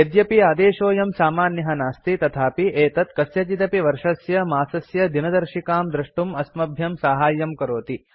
यद्यपि आदेशोऽयं सामान्यः नास्ति तथापि एतत् कस्यचिदपि वर्षस्य मासस्य दिनदर्शिकां द्रष्टुं अस्मभ्यं साहाय्यं करोति